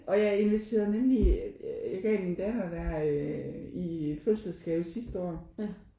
Og jeg inviterede nemlig jeg gav det min datter der i fødselsdagsgave sidste år